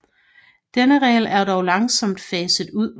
Denne regel er dog langsomt faset ud